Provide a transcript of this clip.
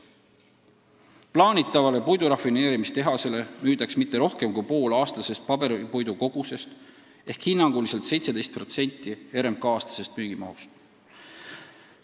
Plaanitavale puidurafineerimistehasele müüdaks kõige rohkem pool aastasest paberipuidu kogusest ehk hinnanguliselt 17% RMK aastasest müügimahust.